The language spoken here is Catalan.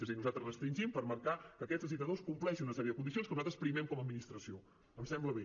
és a dir nosaltres restringim per marcar que aquests licitadors compleixin una sèrie de condicions que nosaltres primem com a administració em sembla bé